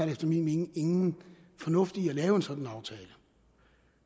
efter min mening ingen fornuft i at lave en sådan aftale